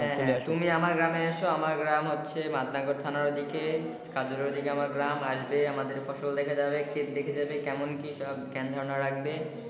হ্যাঁ হ্যাঁ তুমি আমার গ্রামে এসো আমার গ্রাম হচ্ছে বায়নগর থানার ওদিকে আমার গ্রাম আসবে আমার ফসল দেখে যাবে কেমন কি সব গ্যান ধারনা রাখবে।